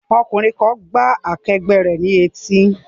Ọkùnrin kan gbá akẹgbẹ́ rẹ̀ ní etí